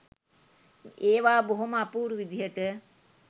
ඒවා බොහොම අපූරු විදිහට